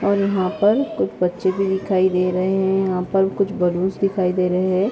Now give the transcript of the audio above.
और यहा पर कुछ बच्चे भी दिखाई दे रहे हैं और यहा पर कुछ बलून्स दिखाई दे रहे हैं।